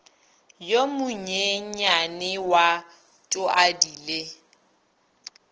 yo monyenyane wa tuadi le